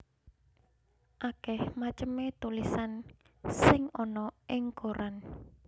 Akèh macemé tulisan sing ana ing koran